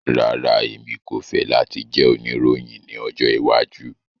Rara, Emi ko fẹ lati jẹ oniroyin ni ọjọ iwaju